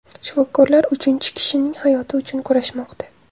Shifokorlar uchinchi kishining hayoti uchun kurashmoqda.